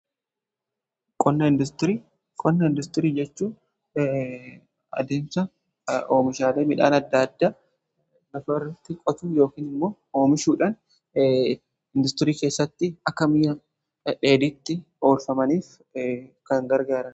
Qonna industirii: Qonna industirii jechuu adeemsa oomishaale midhaan adda addaa lafa irratti qotuun yookiin immoo oomishuudhaan industirii keessatti akka mi'a dheedhiitti oolfamaniif kan gargaarudha.